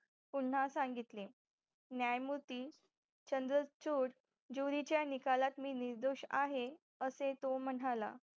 पुन्हा संघितले न्यायमूर्ती चंद्रचूर ज्युरीच्या निकालात मी निर्दोष आहे असे तो म्हणाला